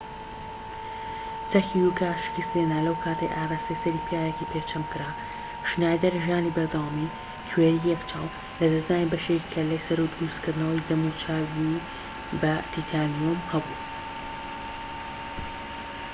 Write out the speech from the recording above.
چەکی یوکا شکستی هێنا لەو کاتەی ئاڕاستەی سەری پیاوێکی پێجەم کرا شنایدەر ژانی بەردەوامی کوێری یەک چاو لەدەستدانی بەشێکی کەلەی سەر و دروستکردنەوەی دەم و چاوی بە تیتانیوم هەبوو